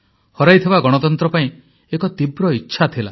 ହରାଇଥିବା ଗଣତନ୍ତ୍ର ପାଇଁ ଏକ ତୀବ୍ର ଇଚ୍ଛା ଥିଲା